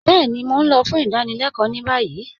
Bẹẹni, Mó n lọ̀ fún ìdánílẹ̀kọ ni bayí